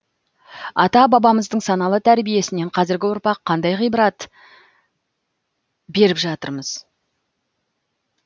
ата бабамыздың саналы тәрбиесінен қазіргі ұрпақ қандай ғибарат беріп жатырмыз